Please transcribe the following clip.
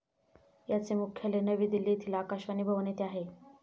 याचे मुख्यालय नवी दिल्ली येथील आकाशवाणी भवन येथे आहे